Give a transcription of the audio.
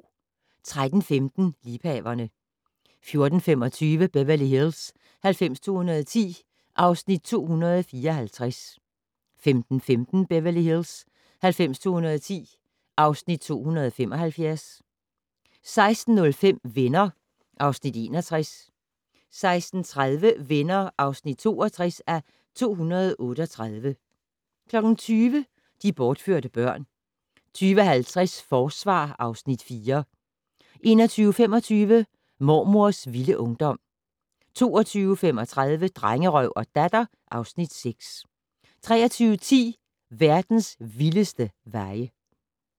13:15: Liebhaverne 14:25: Beverly Hills 90210 (Afs. 274) 15:15: Beverly Hills 90210 (Afs. 275) 16:05: Venner (Afs. 61) 16:30: Venner (62:238) 20:00: De bortførte børn 20:50: Forsvar (Afs. 4) 21:25: Mormors vilde ungdom 22:35: Drengerøv og Datter (Afs. 6) 23:10: Verdens vildeste veje